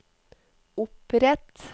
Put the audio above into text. opprett